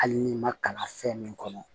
Hali n'i ma kalan fɛn min kɔnɔ